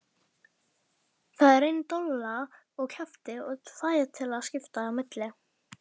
Það er ein dolla á kjaft og tvær til að skipta á milli!